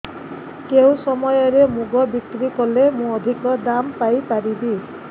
କେଉଁ ସମୟରେ ମୁଗ ବିକ୍ରି କଲେ ମୁଁ ଅଧିକ ଦାମ୍ ପାଇ ପାରିବି